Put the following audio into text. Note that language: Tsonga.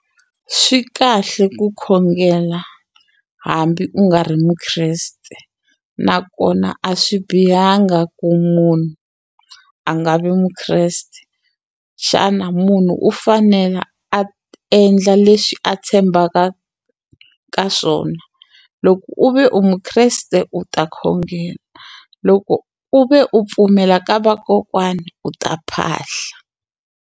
Swi kahle ku khongela hambi u nga ri Mukreste nakona a swi bihanga ku munhu a nga vi Mukreste xana munhu u fanela a endla leswi a tshembaka ka swona loko u ve u Mukreste u ta khongela loko u ve u pfumela ka vakokwani u ta phahla.